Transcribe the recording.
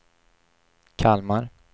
Kalmar